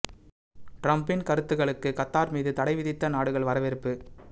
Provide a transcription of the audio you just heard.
டிரம்பின் கருத்துகளுக்கு கத்தார் மீது தடை விதித்த நாடுகள் வரவேற்பு